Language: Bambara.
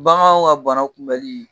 Baganw ka bana kunbɛli